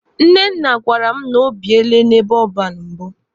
Nnenna gwara m na o biele n'ebe ọban mbụ.